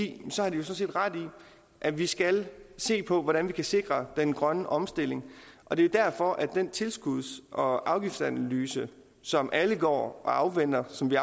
de sådan set ret i at vi skal se på hvordan vi kan sikre den grønne omstilling og det er derfor at den tilskuds og afgiftsanalyse som alle går og afventer og som vi